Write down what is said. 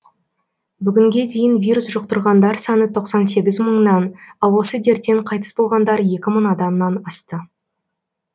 бүгінге дейін вирус жұқтырғандар саны тоқсан сегіз мыңнан ал осы дерттен қайтыс болғандар екі мың адамнан асты